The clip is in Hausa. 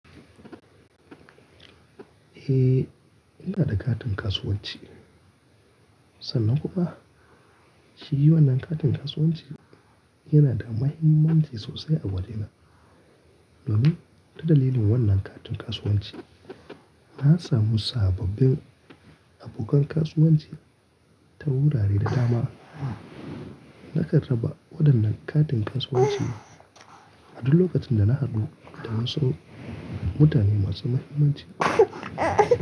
Eh, ina da katin kasuwanci. Sanan kuwa ba? Shi wannan katin kasuwanci yana da mahimmanci sosai a wajena. Domin, ta dalilin wannan katin kasuwanci na samu sababbin abokan kasuwanci ta wurare da dama. Naka raba waɗannan katin kasuwanci a duk lokacin da na haɗu da masun-- mutane masu mahimmanci.